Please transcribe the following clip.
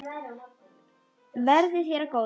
Verði þér að góðu.